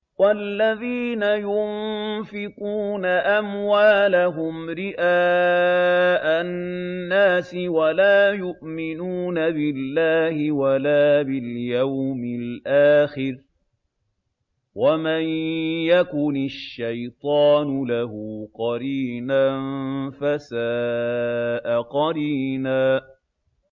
وَالَّذِينَ يُنفِقُونَ أَمْوَالَهُمْ رِئَاءَ النَّاسِ وَلَا يُؤْمِنُونَ بِاللَّهِ وَلَا بِالْيَوْمِ الْآخِرِ ۗ وَمَن يَكُنِ الشَّيْطَانُ لَهُ قَرِينًا فَسَاءَ قَرِينًا